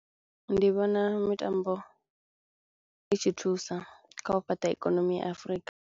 Ndi vhona mitambo i tshi thusa kha u fhaṱa ikonomi ya Afrika.